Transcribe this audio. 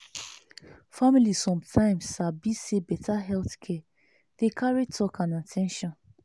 family sometimes sabi say better health care dey carry talk and at ten tion.